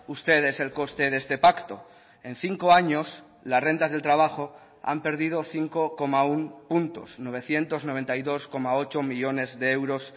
ustedes el coste de este pacto en cinco años las rentas del trabajo han perdido cinco coma uno puntos novecientos noventa y dos coma ocho millónes de euros